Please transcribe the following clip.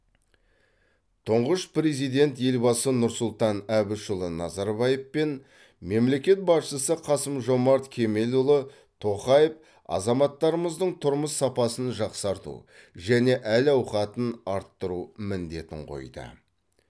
тұңғыш президент елбасы нұрсұлтан әбішұлы назарбаев пен мемлекет басшысы қасым жомарт кемелұлы тоқаев азаматтарымыздың тұрмыс сапасын жақсарту және әл ауқатын арттыру міндетін қойды